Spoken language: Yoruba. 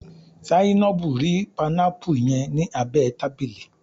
Zainabu ri panámpù yẹn ni abẹ tábìlì.